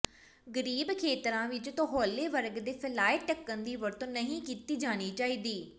ਗਰੀਬ ਖੇਤਰਾਂ ਵਿੱਚ ਤੌਹਲੇ ਵਰਗ ਦੇ ਫੈਲਾਏ ਢੱਕਣ ਦੀ ਵਰਤੋਂ ਨਹੀਂ ਕੀਤੀ ਜਾਣੀ ਚਾਹੀਦੀ